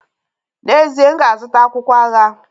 N'ezie, m ga-azụta akwụkwọ agha.